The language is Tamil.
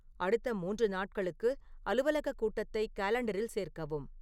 அடுத்த மூன்று நாட்களுக்கு அலுவலக கூட்டத்தை காலண்டரில் சேர்க்கவும்